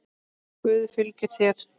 Guð fylgi þér.